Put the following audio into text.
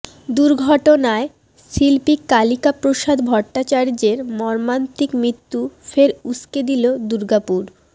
দুর্ঘটনায় শিল্পী কালিকাপ্রসাদ ভট্টাচার্যের মর্মান্তিক মৃত্যু ফের উস্কে দিল দুর্গাপুর